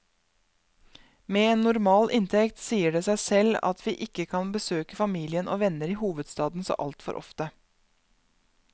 Med en normal inntekt sier det seg selv at vi ikke kan besøke familien og venner i hovedstaden så altfor ofte.